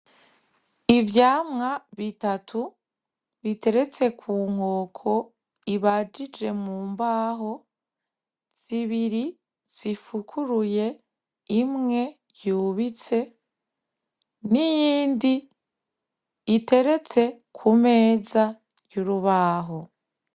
Ivyamwa bitatu biteretse ku nkoko ibajije mu mbaho zibiri zifukuruye imwe yubitse n'iyindi iteretse ku meza y'urubaho.